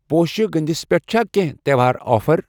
پوشہٕ گٔنٛدِس پٮ۪ٹھ چھا کینٛہہ تہٚوہار آفر؟